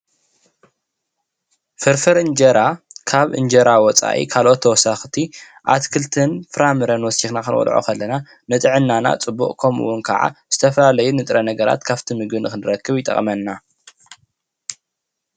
ፍርፍር እንጀራ ካብ እንጀራ ወፃኢ ካልኦት ተወሰክቲ ኣትክልትን ፍራምረን ወሲካ ክንበልዖ ከለና ንጥዕናና ፅቡቅ ከምኡ እውን ከዓ ዝተፈላለዩ ንጥረ ነገራት ካብቲ ምግቢ ንክንረክብ ይጠቅመና፡፡